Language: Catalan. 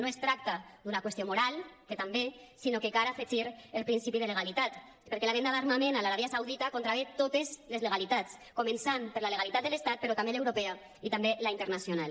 no es tracta d’una qüestió moral que també sinó que cal afegir el principi de legalitat perquè la venda d’armament a l’aràbia saudita contravé totes les legalitats començant per la legalitat de l’estat però també l’europea i també la internacional